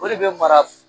O de bɛ mara